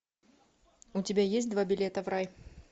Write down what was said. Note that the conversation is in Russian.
у тебя есть два билета в рай